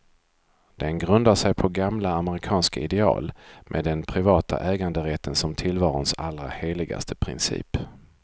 Den grundar sig på gamla amerikanska ideal, med den privata äganderätten som tillvarons allra heligaste princip.